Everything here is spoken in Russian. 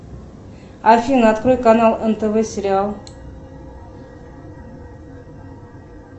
афина открой канал нтв сериал